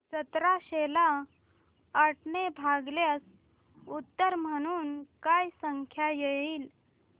सतराशे ला आठ ने भागल्यास उत्तर म्हणून काय संख्या येईल